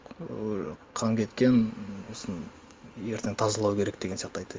ыыы қан кеткен м осыны ертең тазалау керек деген сияқты айтты